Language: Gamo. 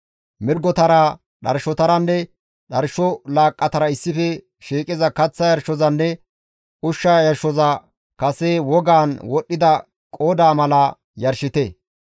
Mirgotara, dharshotaranne dharsho laaqqatara issife shiiqiza kaththa yarshozanne ushsha yarshoza kase wogan wodhdhida qoodaa mala yarshite.